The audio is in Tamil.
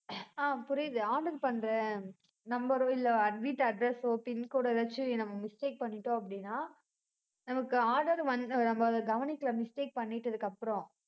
ஆஹ் புரியுது order பண்றேன் number ஓ, இல்லை, வீட்டு address ஓ pincode ஓ ஏதாச்சும் நம்ம mistake பண்ணிட்டோம், அப்படின்னா, நமக்கு order வந்~ நம்ம அதை கவனிக்கல mistake பண்ணிட்டதுக்கு அப்புறம்